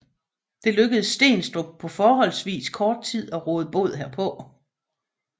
Det lykkedes Steenstrup på forholdsvis kort tid at råde bod herpå